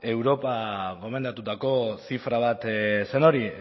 europak gomendatutako zifra bat zen hori